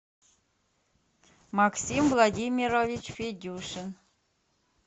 максим владимирович федюшин